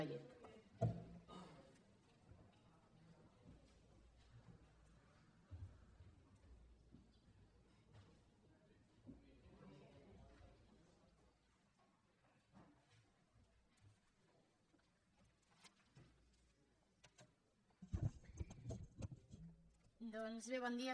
doncs bé bon dia